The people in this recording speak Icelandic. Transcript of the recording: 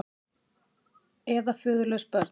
Eða föðurlaus börn.